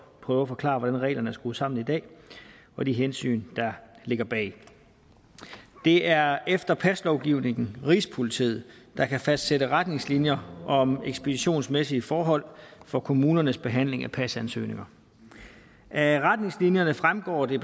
prøve at forklare hvordan reglerne er skruet sammen i dag og de hensyn der ligger bag det er efter paslovgivningen rigspolitiet der kan fastsætte retningslinjer om ekspeditionsmæssige forhold for kommunernes behandling af pasansøgninger af retningslinjerne fremgår det